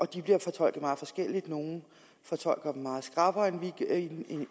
de bliver fortolket meget forskelligt nogle fortolker den meget skrappere